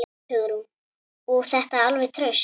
Hugrún: Og þetta alveg traust?